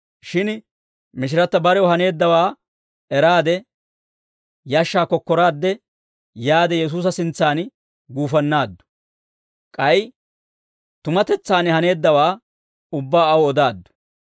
shin mishiratta barew haneeddawaa eraade, yashshaa kokkoraadde yaade Yesuusa sintsan guufannaaddu; k'ay tumatetsaan haneeddawaa ubbaa aw odaaddu.